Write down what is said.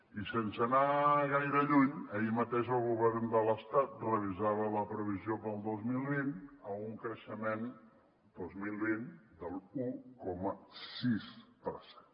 i sense anar gaire lluny ahir mateix el govern de l’estat revisava la previsió per al dos mil vint a un creixement de l’un coma sis per cent